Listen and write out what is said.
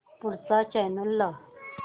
पुढचा चॅनल लाव